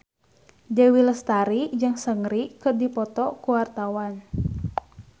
Dewi Lestari jeung Seungri keur dipoto ku wartawan